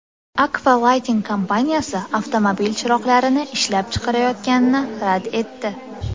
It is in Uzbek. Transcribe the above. Akfa Lighting kompaniyasi avtomobil chiroqlarini ishlab chiqarayotganini rad etdi.